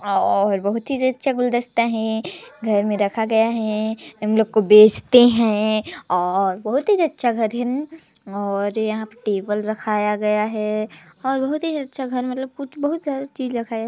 और बहुत ही अच्छा गुलदस्ता है घर में रखा गया है हम लोग को बेचते है और बहुत ही अच्छा घर है और यहाँ टेबल रखाया गया है बहुत ही अच्छा घर मतलब कुछ बहुत सारा चीज रखाया है।